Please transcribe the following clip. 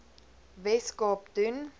wes kaap doen